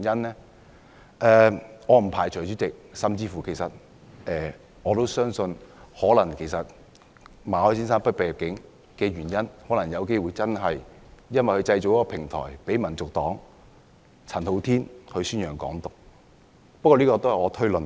主席，我不排除甚至相信馬凱先生被拒入境的原因，可能真的是因為他製造了一個平台，讓香港民族黨的陳浩天宣揚"港獨"。